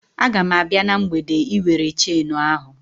A ga m abịa na mgbede Ị were chenu ahụ